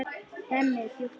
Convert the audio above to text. Hemmi er djúpt hugsi.